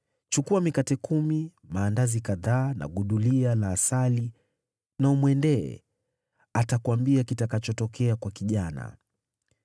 Chukua mikate kumi, maandazi kadhaa na gudulia la asali na umwendee. Atakuambia kitakachotokea kwa kijana.”